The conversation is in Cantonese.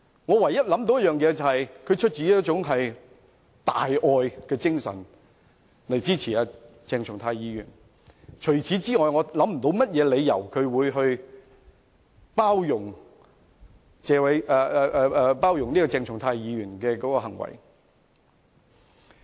我唯一想到的原因是他出於大愛的精神而支持鄭松泰議員，除此之外，我想不到任何理由為何他要包容鄭松泰議員的行為。